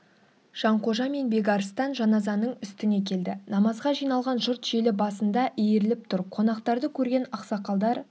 жанқожа мен бекарыстан жаназаның үстіне келді намазға жиналған жұрт желі басында иіріліп тұр қонақтарды көрген ақсақалдар